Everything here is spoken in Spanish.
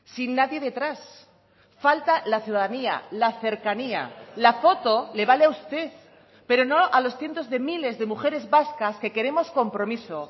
sin nadie detrás falta la ciudadanía la cercanía la foto le vale a usted pero no a los cientos de miles de mujeres vascas que queremos compromiso